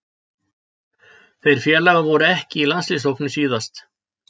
Þeir félagar voru ekki í landsliðshópnum síðast.